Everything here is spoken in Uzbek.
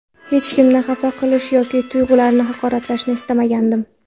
Hech kimni xafa qilish yoki tuyg‘ularini haqoratlashni istmagandim.